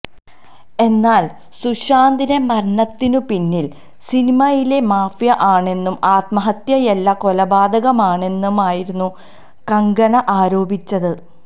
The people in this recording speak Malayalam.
എന്നാല് സുശാന്തിന്റെ മരണത്തിന് പിന്നില് സിനിമയിലെ മാഫിയ ആണെന്നും ആത്മഹത്യയല്ല കൊലപാതകമാണെന്നുമായിരുന്നു കങ്കണ ആരോപിച്ചത്